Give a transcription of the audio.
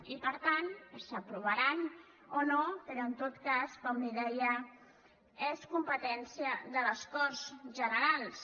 i per tant s’aprovaran o no però en tot cas com li deia és competència de les corts generals